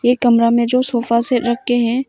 ये कमरा में जो सोफा सेट रखे हैं।